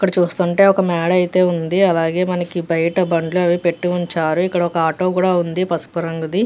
ఇక్కడ చూస్తూ ఉంటే ఒక మాల్ అయితే ఉంది. అలాగే పనికి బయట బండ్లు అవి పట్టి ఉంచారు. ఇక్కడ ఒక్క ఆటో కూడా ఉంది పసుపు రంగుది.